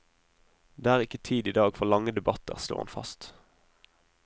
Det er ikke tid i dag for lange debatter, slo han fast.